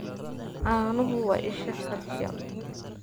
Caanuhu waa isha calcium.